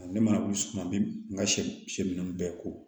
Ne mana wuli suman min ka sɛ ninnu bɛɛ ko